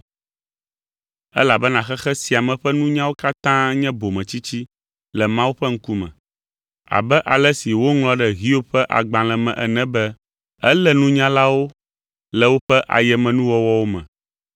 Elabena xexe sia me ƒe nunyawo katã nye bometsitsi le Mawu ƒe ŋkume. Abe ale si woŋlɔ ɖe Hiob ƒe agbalẽ me ene be, “Elé nunyalawo le woƒe ayemenuwɔwɔwo me.”